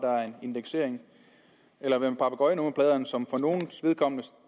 indeksering eller hvad med papegøjenummerpladerne som for nogles vedkommende